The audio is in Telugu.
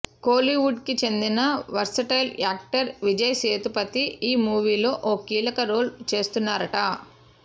కోలీవుడ్ కి చెందిన వర్సిటైల్ యాక్టర్ విజయ్ సేతుపతి ఈ మూవీ లో ఓ కీలక రోల్ చేస్తున్నారట